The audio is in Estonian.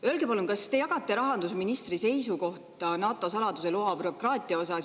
Öelge palun, kas te jagate rahandusministri seisukohta NATO saladuse loa taotlemise bürokraatia osas.